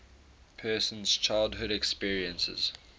person's childhood experiences